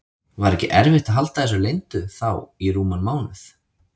Var ekki erfitt að halda þessu leyndu þá í rúman mánuð?